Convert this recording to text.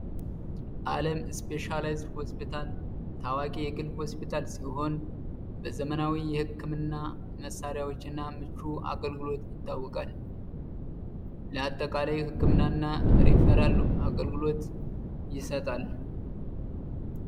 አለም ስፔሻላይዝድ ሆስፒታል ታዋቂ የግል ሆስፒታል ሲሆን በዘመናዊ የህክምና መሳሪያዎች እና ምቹ አገልግሎት ይታወቃል። ለአጠቃላይ ህክምና እና ሪፈራል አገልግሎት ይሰጣል።